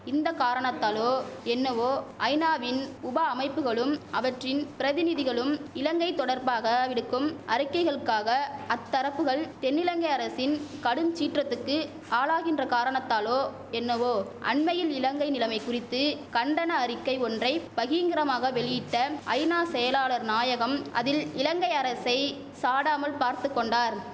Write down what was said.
இந்த காரணத்தாலோ என்னவோ ஐநாவின் உப அமைப்புகளும் அவற்றின் பிரதிநிதிகளும் இலங்கை தொடர்பாக விடுக்கும் அறிக்கைகளுக்காக அத்தரப்புகள் தென்னிலங்கை அரசின் கடும் சீற்றத்துக்கு ஆளாகின்ற காரணத்தாலோ என்னவோ அண்மையில் இலங்கை நிலைமை குறித்து கண்டன அறிக்கை ஒன்றை பகிங்கரமாக வெளியிட்ட ஐநா செயலாளர் நாயகம் அதில் இலங்கை அரசை சாடாமல் பார்த்துகொண்டார்